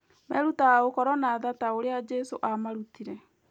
Merutaga gũkorwo na tha ta ũrĩa Jesũ aamarutire.